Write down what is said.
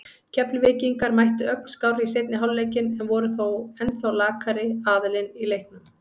Keflvíkingar mættu ögn skárri í seinni hálfleikinn en voru þó ennþá lakari aðilinn í leiknum.